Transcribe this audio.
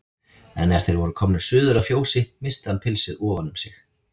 En er þeir voru komnir suður að fjósi missti hann pilsið ofan um sig.